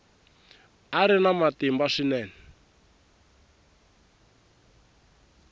a ri na matimba swinene